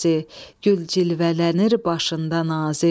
gül cilvələnir başında nazi.